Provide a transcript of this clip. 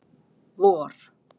vor